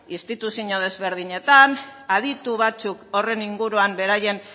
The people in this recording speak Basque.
instituzio ezberdinetan aditu batzuk horren inguruan beraien